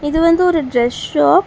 இது வந்து ஒரு டிரஸ் ஷாப் .